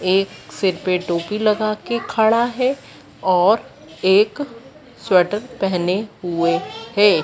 एक सिर पे टोपी लगा के खड़ा है और एक स्वेटर पहने हुए है।